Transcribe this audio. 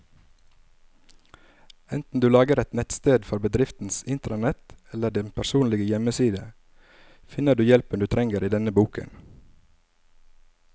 Enten du lager et nettsted for bedriftens intranett eller din personlige hjemmeside, finner du hjelpen du trenger i denne boken.